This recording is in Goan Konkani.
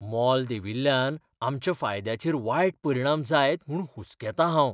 मोल देंविल्ल्यान आमच्या फायद्याचेर वायट परिणाम जायत म्हूण हुसकेतां हाव.